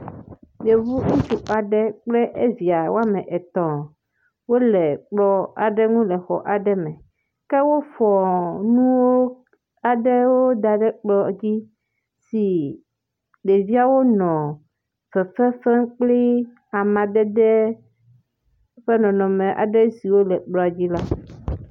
Yevu ŋutsuvi aɖe kple evia woame etɔ̃ wole kplɔ aɖe ŋu le xɔ aɖe me, ke wofɔ nuwo aɖewo da ɖe ekplɔ dzi si ɖeviawo nɔ fefe fem kpli amadede ƒe nɔnɔme aɖe siwo le kplɔ dzi la.